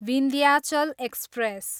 Vindhyachal express